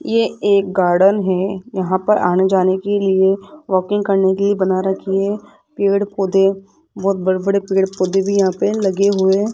ये एक गार्डन है यहां पर आने जाने के लिए वॉकिंग करने के लिए बना रखी है पेड़ पौधे बहोत बड़े पेड़ पौधे भी यहां पे लगे हुए --